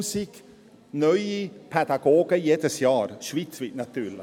10 000 neue Pädagogen jedes Jahr, schweizweit natürlich.